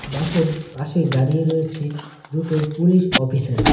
বাসের পাশে দাঁড়িয়ে রয়েছে দুটো পুলিশ অফিসার ।